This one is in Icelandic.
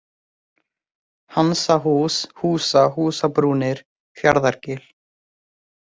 Hansahús, Húsá, Húsabrúnir, Fjarðargil